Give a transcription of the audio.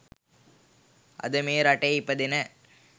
අද මේ රටේ ඉපදෙන